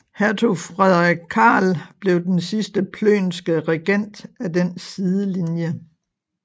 Hertug Frederik Karl blev den sidste plönske regent af den sidelinje